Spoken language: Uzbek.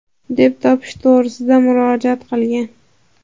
deb topish to‘g‘risida murojaat qilgan.